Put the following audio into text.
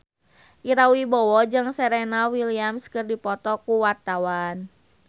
Ira Wibowo jeung Serena Williams keur dipoto ku wartawan